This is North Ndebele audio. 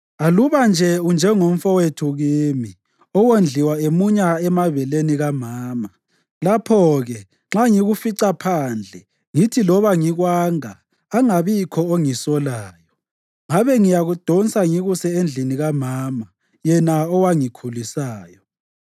Aluba nje unjengomfowethu kimi, owondliwa emunya emabeleni kamama! Lapho-ke, nxa ngikufica phandle, ngithi loba ngikwanga, angabikhona ongisolayo.